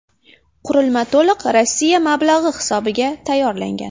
Qurilma to‘liq Rossiya mablag‘i hisobiga tayyorlangan.